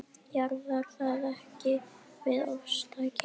Jaðrar það ekki við ofstæki?